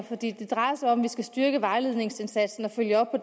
for det drejer sig om at vi skal styrke vejledningsindsatsen og følge op på